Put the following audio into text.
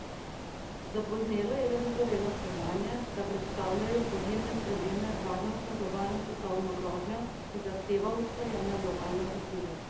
Zapoznelo je le dozorelo spoznanje, da predstavljajo podnebne spremembe varnostno globalno svetovno grožnjo, ki zahteva usklajene globalne odzive.